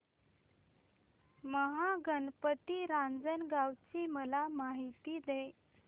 महागणपती रांजणगाव ची मला माहिती दे